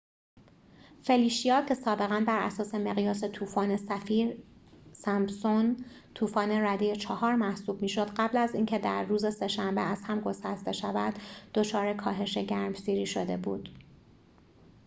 فلیشیا که سابقا براساس مقیاس طوفان سفیر-سمپسون طوفان رده ۴ محسوب می‌شد قبل از از اینکه در روز سه شنبه از هم گسسته شود دچار کاهش گرمسیری شده بود